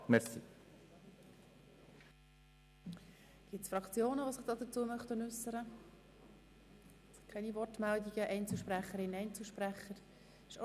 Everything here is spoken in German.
Es gibt keine Wortmeldungen von Fraktionen oder Einzelsprechern.